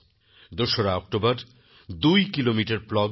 ২ October দুই kilometre প্লগিং